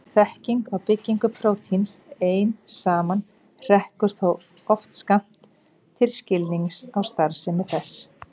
Þekking á byggingu prótíns ein saman hrekkur þó oft skammt til skilnings á starfsemi þess.